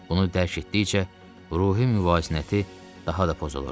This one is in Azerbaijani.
Bunu dərk etdikcə ruhi müvazinəti daha da pozulurdu.